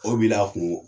O b'i la kungo